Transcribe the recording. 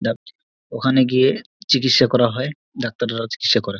ওখানে গিয়ে চিকিৎসা করা হয় ডাক্তার ধরা চিকিৎসা করা--